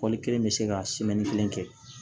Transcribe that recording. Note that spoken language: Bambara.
kelen bɛ se ka kelen kɛ